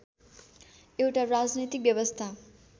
एउटा राजनैतिक व्यवस्था